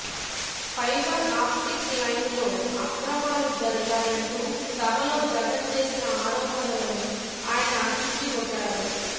fibre ఆప్టిక్లైన్లో అక్రమాలు జరిగాయంటూ సభలో జగన్ చేసిన ఆరోపణలను ఆయన తిప్పికొట్టారు